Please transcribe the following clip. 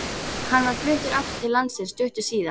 Hann var fluttur aftur til landsins stuttu síðar.